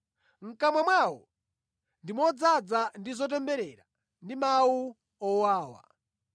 “Mʼkamwa mwawo ndi modzaza ndi zotemberera ndi mawu owawa.”